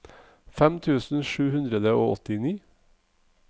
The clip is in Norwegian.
fem tusen sju hundre og åttini